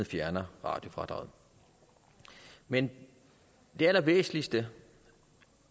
fjerner radiofradraget men den allervæsentligste